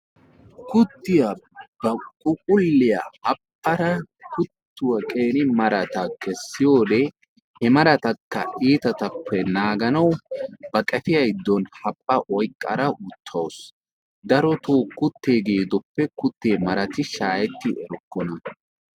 kuttiyaa ba phuphuliyaa haphphada kuttuwaa qeri maratakka kessiyoode he maratakka itaattuppe naaganaw ba qeefiyaa giddon haphpha oyqqada uttawus. darotoo kuttee gedoppe marati shaaheti erokkona.